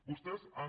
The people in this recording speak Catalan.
vostès han